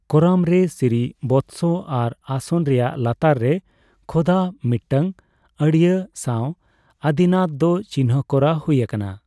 ᱠᱚᱨᱟᱢ ᱨᱮ ᱥᱨᱤᱵᱚᱛᱥᱚ ᱟᱨ ᱟᱥᱚᱱ ᱨᱮᱭᱟᱜ ᱞᱟᱛᱟᱨ ᱨᱮ ᱠᱷᱚᱫᱟ ᱢᱤᱫᱴᱟᱝ ᱟᱹᱲᱭᱟᱹ ᱥᱟᱣ ᱟᱫᱤᱱᱟᱛ ᱫᱚ ᱪᱤᱱᱦᱟᱹ ᱠᱚᱨᱟ ᱦᱩᱭ ᱟᱠᱟᱱᱟ ᱾